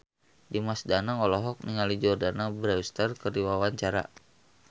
Dimas Danang olohok ningali Jordana Brewster keur diwawancara